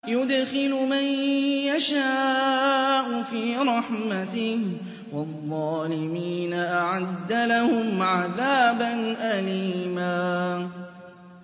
يُدْخِلُ مَن يَشَاءُ فِي رَحْمَتِهِ ۚ وَالظَّالِمِينَ أَعَدَّ لَهُمْ عَذَابًا أَلِيمًا